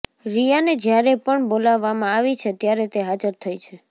રિયાને જ્યારે પણ બોલાવવામાં આવી છે ત્યારે તે હાજર થઈ છે